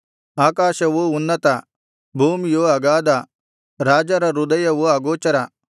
ಆಕಾಶವು ಉನ್ನತ ಭೂಮಿಯು ಅಗಾಧ ರಾಜರ ಹೃದಯವು ಅಗೋಚರ